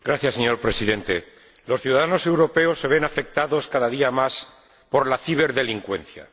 Señor Presidente, los ciudadanos europeos se ven afectados, cada día más, por la ciberdelincuencia.